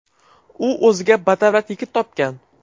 U o‘ziga badavlat yigit topgan.